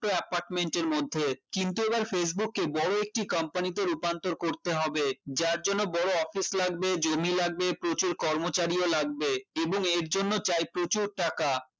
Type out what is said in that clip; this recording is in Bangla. তো apartment এর মধ্যে কিন্তু এবার facebook কে বড় একটি company তে রূপান্তর করতে হবে যার জন্য বড় office লাগবে জমি লাগবে প্রচুর কর্মচারীও লাগবে এবং এর জন্য চাই প্রচুর টাকা